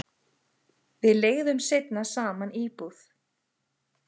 Við leigðum seinna saman íbúð.